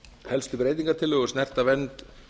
helstu breytingartillögur snerta vernd